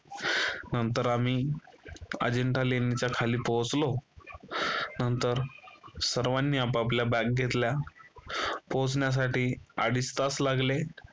नंतर आम्ही अजिंठा लेणीच्या खाली पोहोचलो नंतर सर्वांनी आपापल्या bag घेतल्या. पोहोचण्यासाठी अडीच तास लागले